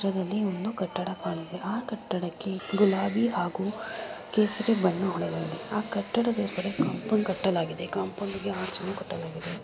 ಇದರಲ್ಲಿ ಒಂದು ಕಟ್ಟಡ ಕಾಣುತ್ತಿದೆ ಆ ಕಟ್ಟಡಕ್ಕೆ ಗುಲಾಬಿ ಹಾಗೂ ಕೇಸರಿ ಬಣ್ಣವನ್ನು ಹೊಡೆದಿದ್ದಾರೆ ಆ ಕಟ್ಟಡದ ಎದುರು ಕಾಂಪೌಂಡ್ ಕಟ್ಟಲಾಗಿದೆ ಕಾಂಪೌಂಡ್ ಗೆ ಅರ್ಚನ್ನು ಕಟ್ಟಲಾಗಿದೆ.